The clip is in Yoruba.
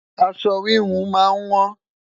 aṣọ wihun má n wọn